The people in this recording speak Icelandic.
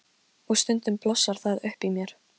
Ég sem var að halda þessa gleði fyrir þig!